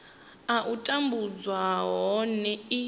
a u tambudzwa nahone i